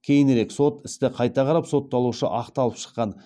кейінірек сот істі қайта қарап сотталушы ақталып шыққан